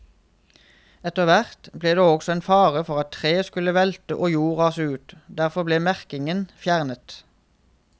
Etterhvert ble det også en fare for at trær skulle velte og jord rase ut, derfor ble merkingen fjernet.